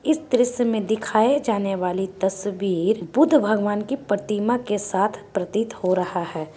इस दृश्य में दिखाये जाने वाली तस्वीर बुद्ध भागवान के प्रतिमा के साथ प्रतीत हो रहा है।